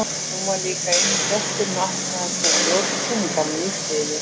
Hún var líka eini gesturinn og ætlaði sér að njóta sýningarinnar í friði.